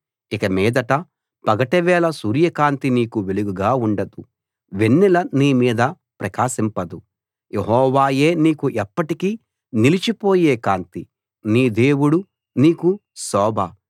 ఇక మీదట పగటివేళ సూర్య కాంతి నీకు వెలుగుగా ఉండదు వెన్నెల నీ మీద ప్రకాశింపదు యెహోవాయే నీకు ఎప్పటికీ నిలిచిపోయే కాంతి నీ దేవుడు నీకు శోభ